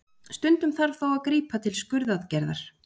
Stundum þarf þó að grípa til skurðaðgerðar.